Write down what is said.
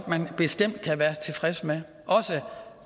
man bestemt godt være tilfreds med også